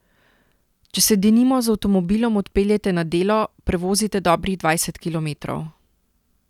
Če se denimo z avtomobilom odpeljete na delo, prevozite dobrih dvajset kilometrov.